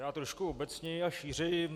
Já trošku obecněji a šířeji.